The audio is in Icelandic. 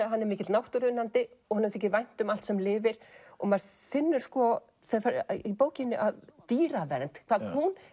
hann er mikill náttúruunnandi og honum þykir vænt um allt sem lifir og maður finnur í bókinni að dýravernd hvað hún